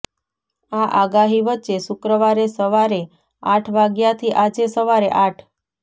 આ આગાહી વચ્ચે શુક્રવારે સવારે આઠ વાગ્યાથી આજે સવારે આઠ